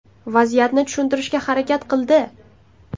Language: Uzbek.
Vaziyatni tushuntirishga harakat qildi.